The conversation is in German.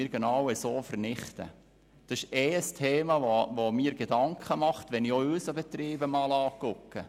Über dieses Thema mache ich mir auch Gedanken, wenn ich über unseren Betrieb nachdenke.